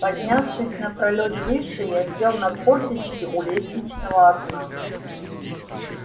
поднявшись на пролёт выше я сел на корточки у лестничного окна